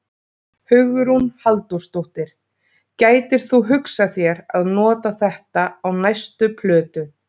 Hugrún Halldórsdóttir: Gætir þú hugsað þér að nota þetta á næstu plötu?